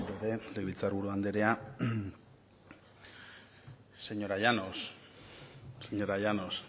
berriro ere legebiltzar buru anderea señora llanos